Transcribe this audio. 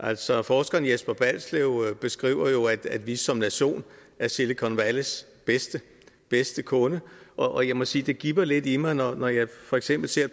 altså forskeren jesper balslev beskriver jo at vi som nation er silicon valleys bedste bedste kunde og jeg må sige at det gibber lidt i mig når jeg for eksempel ser